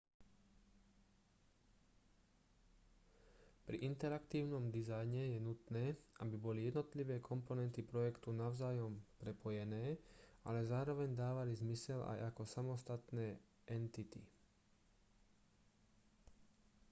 pri interaktívnom dizajne je nutné aby boli jednotlivé komponenty projektu navzájom prepojené ale zároveň dávali zmysel aj ako samostatné entity